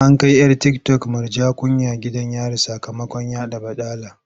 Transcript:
An kai 'yar tiktok Murja Kunya gidan yari sakamakon yaɗa baɗala.